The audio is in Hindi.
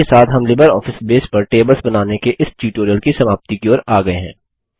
इसी के साथ हम लिबरऑफिस बेस पर टेबल्स बनाने के इस ट्यूटोरियल की समाप्ति की ओर आ गये हैं